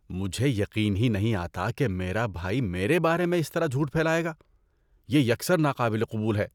مجھے یقین ہی نہیں آتا کہ میرا بھائی میرے بارے میں اس طرح جھوٹ پھیلائے گا۔ یہ یکسر ناقابل قبول ہے۔